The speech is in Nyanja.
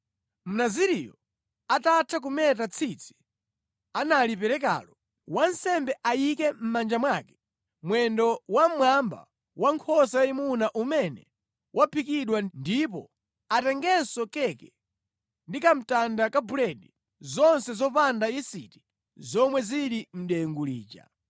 “Mnaziriyo atatha kumeta tsitsi analiperekalo, wansembe ayike mʼmanja mwake mwendo wa mmwamba wankhosa yayimuna umene waphikidwa ndipo atengenso keke ndi kamtanda ka buledi, zonse zopanda yisiti zomwe zili mʼdengu lija.